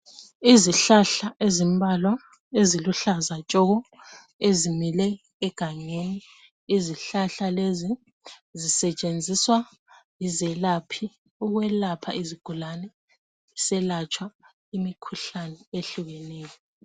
Izihlahla ezimbalwa eziluhlaza Tshoko ezimile egangeni izihlahla lezi zisetshenziswa yizelaphi ukwelapha izigulane kuselatshwa imikhuhlane ehlukeneyo